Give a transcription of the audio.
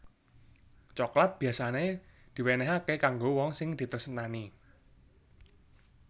Coklat biyasané diwénéhaké kanggo wong sing ditresnani